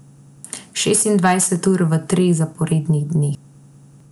Šestindvajset ur v treh zaporednih dneh.